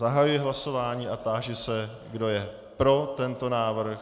Zahajuji hlasování a táži se, kdo je pro tento návrh.